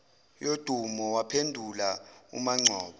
yodumo waphendula umangcobo